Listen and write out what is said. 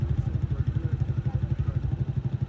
Sağ tərəfdən söhbət gedir.